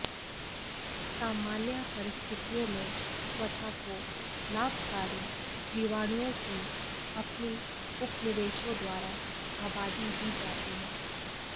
सामान्य परिस्थितियों में त्वचा को लाभकारी जीवाणुओं की अपनी उपनिवेशों द्वारा आबादी दी जाती है